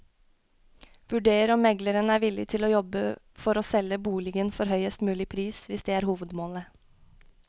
Vurder om megleren er villig til å jobbe for å selge boligen for høyest mulig pris, hvis det er hovedmålet.